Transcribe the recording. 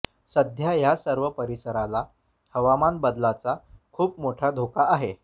सध्या या सर्व परिसराला हवामान बदलाचा खूप मोठा धोका आहे